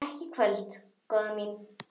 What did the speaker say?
Ekki í kvöld, góða mín.